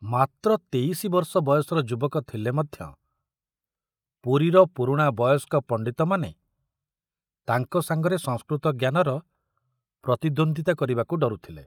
ମାତ୍ର ତେଇଶି ବର୍ଷ ବୟସର ଯୁବକ ଥିଲେ ମଧ୍ୟ ପୁରୀର ପୁରୁଣା ବୟସ୍କ ପଣ୍ଡିତମାନେ ତାଙ୍କ ସାଙ୍ଗରେ ସଂସ୍କୃତ ଜ୍ଞାନର ପ୍ରତିଦ୍ୱନ୍ଦିତା କରିବାକୁ ଡରୁଥିଲେ।